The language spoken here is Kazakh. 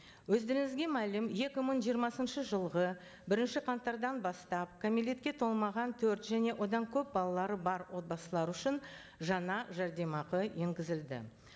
өздеріңізге мәлім екі мың жиырмасыншы жылғы бірінші қаңтардан бастап кәмелетке толмаған төрт және одан көп балалары бар отбасылар үшін жаңа жәрдемақы енгізілді